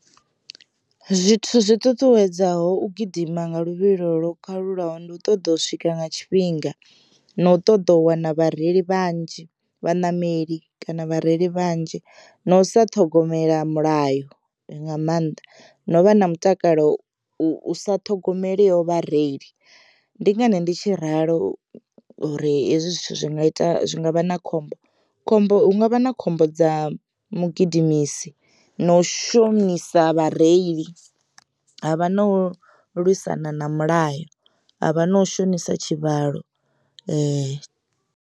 Zwithu zwi ṱuṱuwedzaho u gidima nga luvhilo lwo kalulaho ndi u ṱoḓa u swika nga tshifhinga na u ṱoḓa u wana vhareili vhanzhi vhaṋameli kana vhareili vhanzhi, na u sa ṱhogomela mulayo nga mannḓa no vha na mutakalo u sa ṱhogomeliho vhareili ndi ngani ndi tshi ralo uri hezwi zwithu zwi nga ita zwi ngavha na khombo, khombo hu ngavha na khombo dza mugidimisi na u shonisa vhareili ha vha na lwisana na milayo havha na u shonisa tshivhalo .